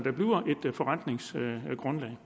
at man